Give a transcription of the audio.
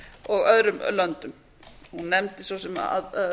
og öðrum löndum og nefndi svo sem